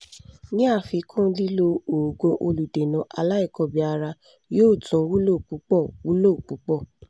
ní àfikún lílo òògùn olùdènà aláìkọbìára yóò tún wúlò púpọ̀ wúlò púpọ̀